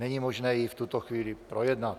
Není možné ji v tuto chvíli projednat.